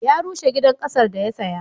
Ya rushe gidan ƙasar da ya saya.